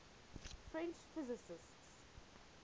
french physicists